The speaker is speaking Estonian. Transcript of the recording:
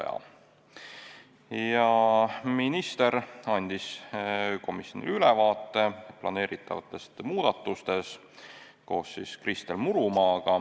Minister ja Kristel Murumaa andsid komisjonile ülevaate planeeritavatest muudatustest.